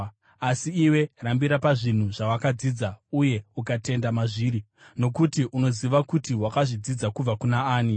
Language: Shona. Asi iwe, rambira pazvinhu zvawakadzidza uye ukatenda mazviri, nokuti unoziva kuti wakazvidzidza kubva kuna ani,